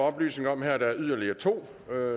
oplysning om her at der er yderligere to